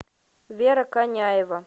вера коняева